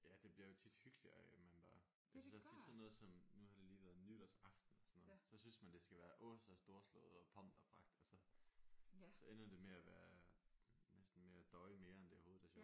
Ja det bliver jo tit hyggeligere af at man bare jeg synes også tit sådan noget som nu har det lige været nytårsaften og sådan noget så synes man det skal være åh så storslået og pomp og pragt og så så ender det med at være næsten mere et døje næsten mere end det overhovedet er sjovt